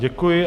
Děkuji.